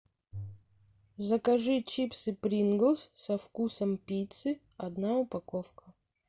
закажи чипсы принглс со вкусом пиццы одна упаковка